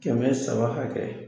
Kɛmɛ saba hakɛ